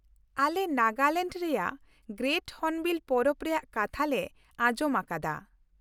ᱟᱞᱮ ᱱᱟᱜᱟᱞᱮᱱᱰ ᱨᱮᱭᱟᱜ great hornbill ᱯᱚᱨᱚᱵᱽ ᱨᱮᱭᱟᱜ ᱠᱟᱛᱷᱟ ᱞᱮ ᱟᱸᱡᱚᱢ ᱟᱠᱟᱫᱟ ᱾